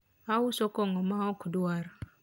ouso kongo ma okdwar